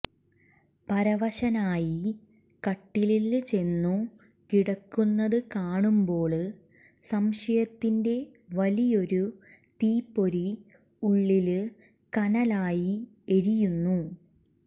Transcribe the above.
പരവശനായി കട്ടിലില് ചെന്നു കിടക്കുന്നത് കാണുമ്പോള് സംശയത്തിന്റെ വലിയൊരു തീപ്പൊരി ഉള്ളില് കനലായി എരിയുന്നു